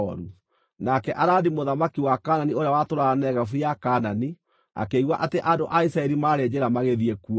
Nake Aradi mũthamaki wa Kaanani ũrĩa watũũraga Negevu ya Kaanani, akĩigua atĩ andũ a Isiraeli maarĩ njĩra magĩthiĩ kuo.